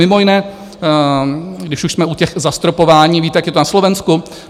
Mimo jiné, když už jsme u těch zastropování, víte, jak je to na Slovensku?